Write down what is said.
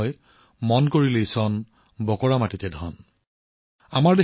সেইবাবেই কোৱা হয়যত ইচ্ছা আছে তাতেই উপায় আছে